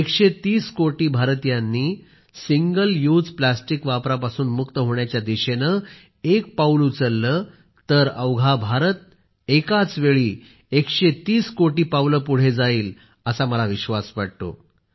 130 कोटी भारतीयांनी single use plastic वापरापासून मुक्त होण्याच्या दिशेनेएक पाऊल उचलले तर अवघा भारत एकाच वेळी 130 कोटी पावले पुढे जाईल असा विश्वास मला वाटतो